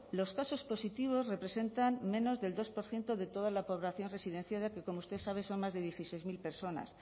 los casos positivos representan menos del dos por ciento de toda la población residenciada que como usted sabe son más de dieciséis mil personas